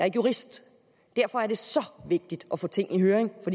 ikke jurist og derfor er det så vigtigt at få ting i høring så